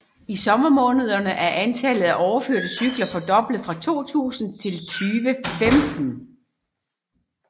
I sommermånederne er antallet af overførte cykler fordoblet fra 2000 til 2015